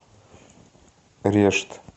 решт